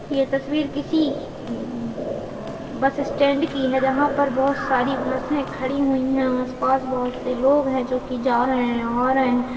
यह तस्वीर किसी बस स्टैंड की है जहाँ पर बहुत सारी बसे खड़ी हुई है आस-पास बहुत से लोग हैं जा रहे हैं आ रहे हैं।